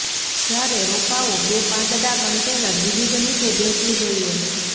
જ્યારે રોપાઓ બે પાંદડા કન્ટેનર વિવિધ નીચે બેસવું જોઈએ